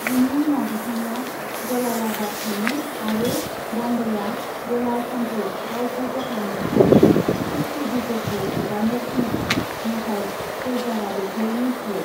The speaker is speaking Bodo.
बिनि उनाव बिथाङा जलालाबाद थाङो आरो बांदाया जलाल खानखौ गावखौ गथायनो आरो शिख खैदिफोरखौ हगारनो थिनो, नाथाय फौजदारआ बेखौ नेवसियो।